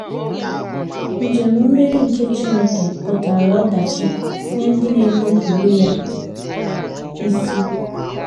Njem mmeri nke Chineke pụtara ọdachi nye ndị na - enupụrụ ya isi.